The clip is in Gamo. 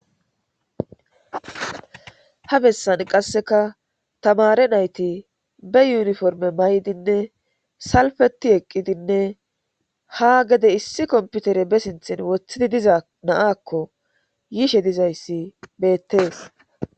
Ha bessan qasseka tamare nayti be yuniforme maydinne salfeti eqqidinne ha gede issi komputere be sinthin woththidi diza na7akko yiishe dizayssi beettees.